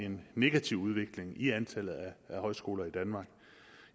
en negativ udvikling i antallet af højskoler i danmark